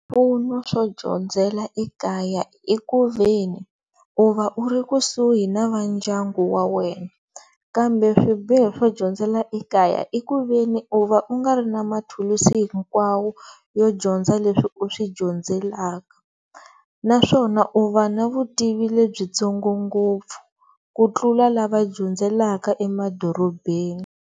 Swipfuno swo dyondzela ekaya i ku ve ni u va u ri kusuhi na vandyangu wa wena kambe swibiho swo dyondzela ekaya i ku ve ni u va u nga ri na mathulusi hinkwawo yo dyondza leswi u swi dyondzelaka naswona u va na vutivi lebyitsongo ngopfu ku tlula lava dyondzelaka emadorobeni.